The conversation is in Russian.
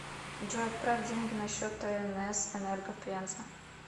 джой отправь деньги на счет тнс энерго пенза